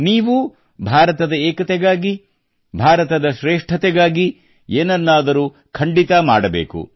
ನೀವೂ ಭಾರತದ ಏಕತೆಗಾಗಿ ಭಾರತದ ಶ್ರೇಷ್ಠತೆಗಾಗಿ ಏನನ್ನಾದರೂ ಖಂಡಿತ ಮಾಡಬೇಕು